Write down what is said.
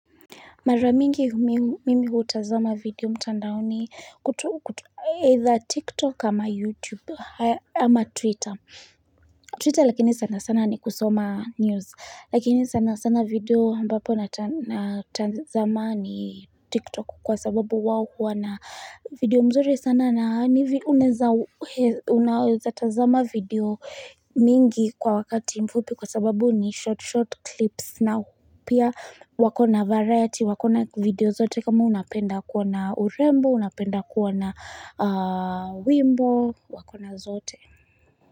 Mara mingi mimi hutazama video mtandaoni either TikTok kama YouTube ama Twitter. Twitter lakini sana sana ni kusoma news. Lakini sana sana video ambapo natadhamani TikTok kwa sababu wao huwa na video mzuri sana. Na na yaani unaweza tazama video mingi kwa wakati mfupi kwa sababu ni short short clips na upya wako na variety wako na video zote kama unapenda kuona urembo unapenda kuoana wimbo wa kona zote.